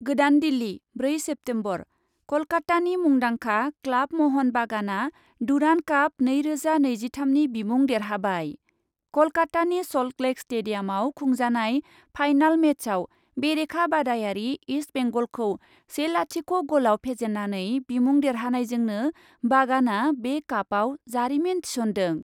गोदान दिल्ली, ब्रै सेप्तेम्बर, कलकातानि मुंदांखा क्लाब महन बागानआ डुरान्त काप नैरोजा नैजिथामनि बिमुं देरहाबाय। कलकातानि सल्टलेक स्टेडियामआव खुंजानाय फाइनाल मेचआव बेरेखा बादायरि इस्ट बेंगलखौ से लाथिख' गलआव फेजेन्नानै बिमुं देरहानायजोंनो बागानआ बे कापआव जारिमिन थिसन्दों।